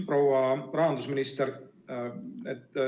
Proua rahandusminister!